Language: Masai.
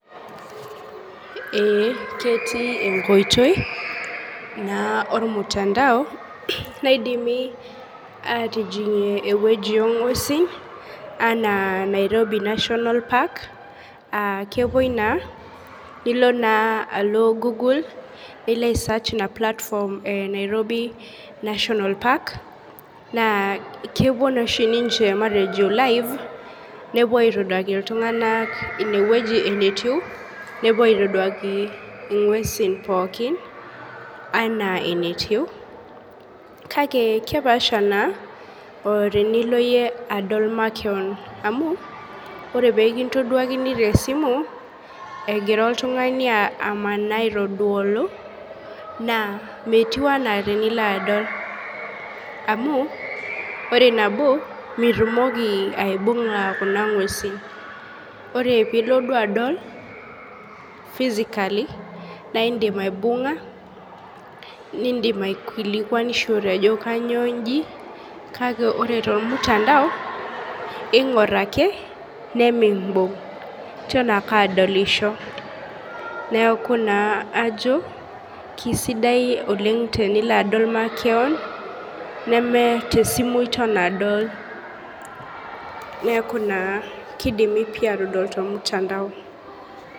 Eh ketii enkoitoi naa ormutandao naidimi atijing'ie ewueji ong'uesin anaa Nairobi national park uh kepuoi naa nilo naa alo google nilo ae search ina platform e nairobi national park naa kepuo naa oshi ninche matejo live nepuo aitoduaki iltung'anak ine wueji enetiu nepuo aitoduaki ing'uesin pookin anaa enetiu kake kepaasha naa otenilo iyie adol makewon amu ore pekintoduakini tesimu egira oltung'ani amanaa aitodolu naa metiu anaa tenilo adol amu ore nabo mitumoki aibung'a kuna ng'uesin ore piilo du ado, physically naindim aibung'a nindim aikilikuanishore ajo kanyio inji kake ore tormutandao ing'orr ake nemimbung iton ake adolisho neeku naa ajo kisidai oleng tenilo adol makewon neme tesimu iton adol neku naa kidimi pii atodol tomutandao.